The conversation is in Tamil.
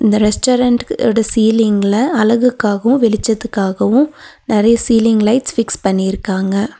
இந்த ரெஸ்டாரன்ட்க் ஓட சீலிங்ல அழகுக்காகவும் வெளிச்சத்துக்காகவும் நெறைய சீலிங் லைட்ஸ் ஃபிக்ஸ் பண்ணிருக்காங்க.